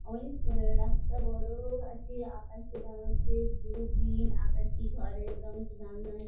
অনেক আ রাস্তা বড় আছে | আকাশের রঙ হচ্ছে ব্লু গ্রীন | আকাশী ঘরের রঙ আছে | জানলায়--